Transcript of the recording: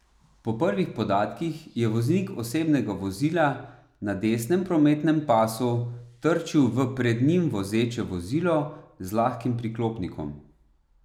Po prvih podatkih je voznik osebnega vozila na desnem prometnem pasu trčil v pred njim vozeče vozilo z lahkim priklopnikom.